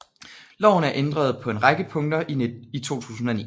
Loven er ændret på en række punkter i 2009